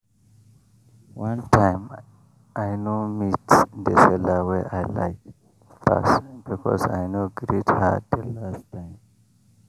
one time i no meet the seller wey i like pass because i no greet her the last time.